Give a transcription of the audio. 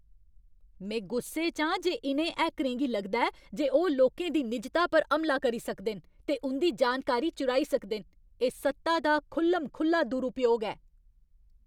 में गुस्से च आं जे इ'नें हैकरें गी लगदा ऐ जे ओह् लोकें दी निजता पर हमला करी सकदे न ते उं'दी जानकारी चुराई सकदे न। एह् सत्ता दा खु'ल्ल म खु'ल्ला दुरूपयोग ऐ।